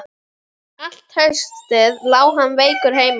Allt haustið lá hann veikur heima.